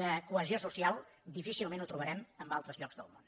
de cohesió social difícilment ho trobarem en altres llocs del món